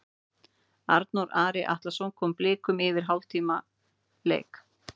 Arnþór Ari Atlason kom Blikum yfir eftir hálftíma leik.